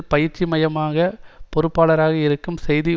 பயிற்சி மைய பொறுப்பாளராக இருக்கும் செய்தி